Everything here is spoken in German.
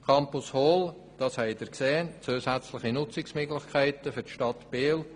Zur Campus Hall: Wie Sie gesehen haben, ergeben sich zusätzliche Nutzungsmöglichkeiten für die Stadt Biel.